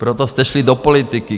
Proto jste šli do politiky.